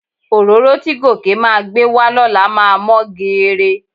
Òróró tí Gòkè máa gbé wá lọ́la máa mọ́ geere.